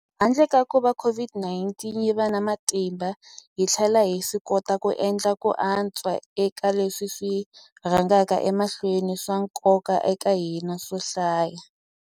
Handle ka kuva COVID-19 yi va na matimba, hi tlhele hi swikota ku endla ku antswa eka leswi swi rhangaka emahlweni swa nkoka eka hina swo hlaya.